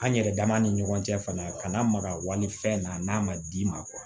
An yɛrɛ dama ni ɲɔgɔn cɛ fana kana maga walifɛn na n'a ma d'i ma